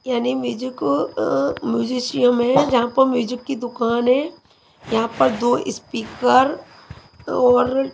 या ने म्यूजिको अ मूजिशियम हैं जहां प म्यूजिक की दुकान हैं यहाँ पर दो इस्पीकर और--